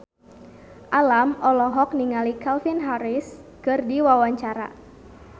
Alam olohok ningali Calvin Harris keur diwawancara